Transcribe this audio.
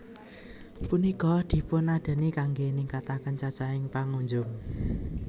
Punika dipunadani kanggé ningkataken cacahing pangunjung